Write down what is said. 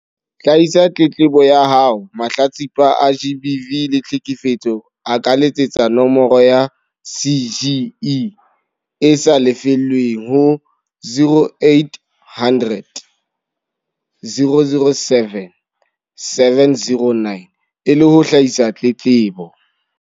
Hlahisa tletlebo ya haoMahlatsipa a GBV le tlheke fetso a ka letsetsa nomoro ya CGE e sa lefellweng ho 0800 007 709 e le ho hlahisa tletlebo.